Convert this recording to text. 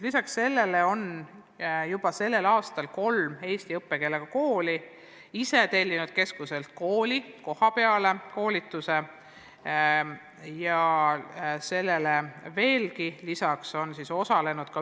Lisaks sellele on tänavu kolm eesti kooli ise tellinud keskuselt kohapeal antava koolituse.